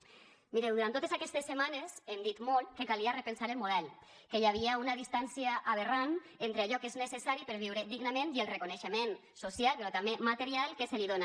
mireu durant totes aquestes setmanes hem dit molt que calia repensar el model que hi havia una distància aberrant entre allò que és necessari per viure dignament i el reconeixement social però també material que se li dona